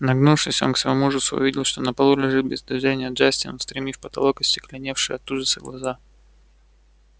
нагнувшись он к своему ужасу увидел что на полу лежит без движения джастин устремив в потолок остекленевшие от ужаса глаза